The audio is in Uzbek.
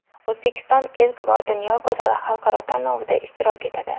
O‘zbekiston ilk bor Dunyo go‘zali xalqaro tanlovida ishtirok etadi.